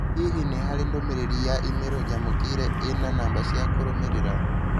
Hihi nĩ harĩ ndũmĩrĩri ya i-mīrū nyamũkĩire ĩna na namba cia kũrũmĩrĩra.